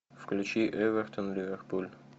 включи эвертон ливерпуль